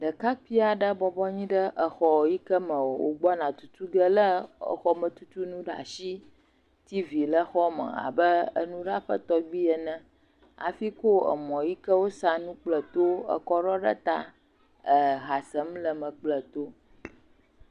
Ɖekakpui aɖe bɔbɔnyi ɖe exɔ yi ke wogbɔna tutu ge le exɔmetutunu ɖe asi. Tivi le xɔme abe nuɖaƒe tɔgbi ene hafi ko emɔ yi ke wosanu kple tuwo ekɔ ɖɔ ɖe ta eha sem le me kple to.